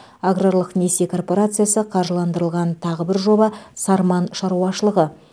аграрлық несие коорпорациясы қаржыландырған тағы бір жоба сарман шаруашылығы